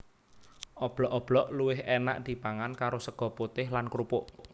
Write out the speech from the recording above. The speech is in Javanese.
Oblok oblok luwih énak dipangan karo sega putih lan krupuk